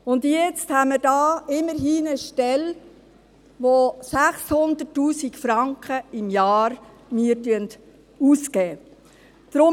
Und jetzt haben wir hier eine Stelle, für die immerhin 600 000 Franken im Jahr ausgegeben werden.